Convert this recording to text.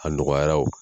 A nɔgɔyara o